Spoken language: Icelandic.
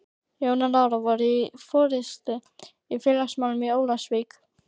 Jón og Lára voru í forystu í félagsmálum í Ólafsvík.